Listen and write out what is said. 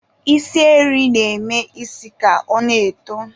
Isi eri na-eme isi ka ọ na-eto.